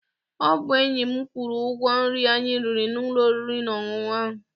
Ọ bụ enyi m kwụrụ ụgwọ nri anyi riri n'ụlọ oriri na ọṅụṅụ ahụ.